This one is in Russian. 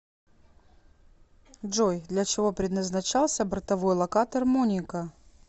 джой для чего предназначался бортовой локатор моника